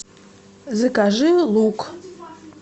закажи лук